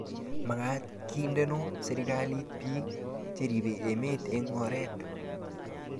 magaat kindeno serikalit biik cheribe emet eng oret